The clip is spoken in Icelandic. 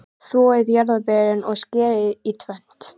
Þvoið jarðarberin og skerið í tvennt.